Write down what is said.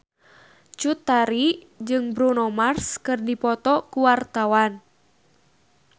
Cut Tari jeung Bruno Mars keur dipoto ku wartawan